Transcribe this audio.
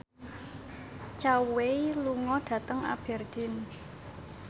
Zhao Wei lunga dhateng Aberdeen